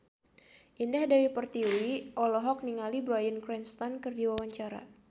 Indah Dewi Pertiwi olohok ningali Bryan Cranston keur diwawancara